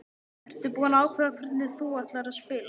Ertu búinn að ákveða hvernig þú ætlar að spila?